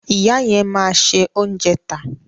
Ìyá yẹn máa se oúnjẹ tà.